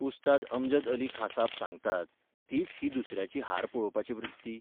उस्ताद अमजद अली खाँसाब सांगतात तीच ही दुसऱ्याची हार पळोवपाची वृत्ती?